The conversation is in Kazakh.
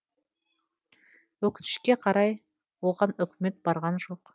өкінішке қарай оған үкімет барған жоқ